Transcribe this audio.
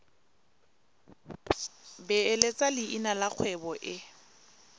beeletsa leina la kgwebo e